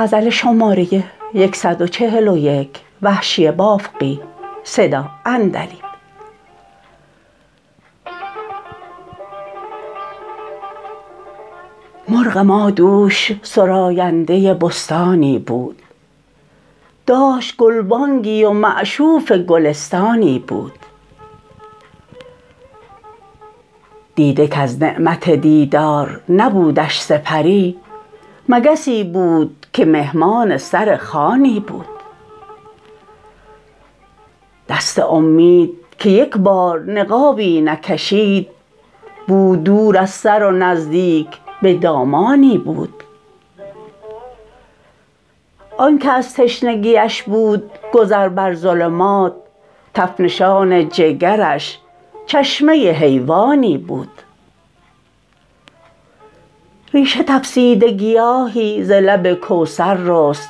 مرغ ما دوش سراینده بستانی بود داشت گلبانگی و مشعوف گلستانی بود دیده کز نعمت دیدار نبودش سپری مگسی بود که مهمان سرخوانی بود دست امید که یک بار نقابی نکشید بود دور از سر و نزدیک به دامانی بود آنکه از تشنگیش بود گذر بر ظلمات تف نشان جگرش چشمه حیوانی بود ریشه تفسیده گیاهی ز لب کوثر رست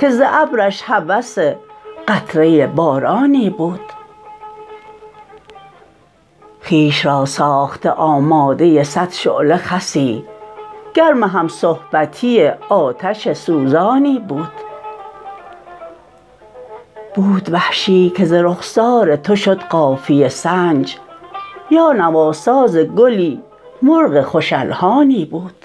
که ز ابرش هوس قطره بارانی بود خویش را ساخته آماده سد شعله خسی گرم همصحبتی آتش سوزانی بود بود وحشی که ز رخسار تو شد قافیه سنج یا نواساز گلی مرغ خوش الحانی بود